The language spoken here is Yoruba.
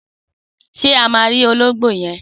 Sé a má ra ológbó yen?